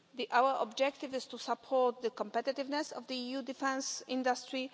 Our objective is to support the competitiveness of the EU defence industry.